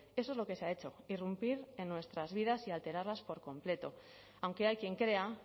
eso es lo que se ha hecho irrumpir en nuestras vidas y alterarlas por completo aunque hay quien crea